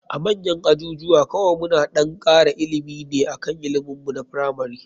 A manyan ajujuwa kawai muna ɗan kara ilimi ne akan ilimin mu na firamari.